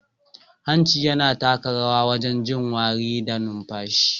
Hanci yana taka rawa wajen jin wari da numfashi.